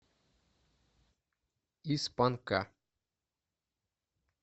из панка